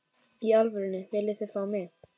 Í alvörunni, viljið þið fá mig?